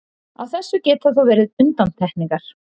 Á þessu geta þó verið undantekningar.